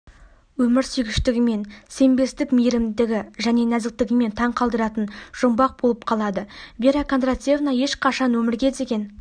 өмірсүйгіштігімен сенбестік мейірімдігі және нәзіктігімен таң қалдыратыны жұмбақ болып қалады вера кондратьевна ешқашан өмірге деген